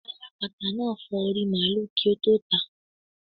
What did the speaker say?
Alápatà náà fọ orí i màlúù kí ó tó tàá.